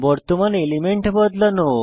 বর্তমান এলিমেন্ট বদলানো